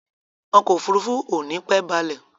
Ọkọ̀ òfurufú ò nípẹ́ balẹ̀.